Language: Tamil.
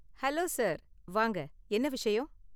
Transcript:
ஹலோ சார், வாங்க, என்ன விஷயம்?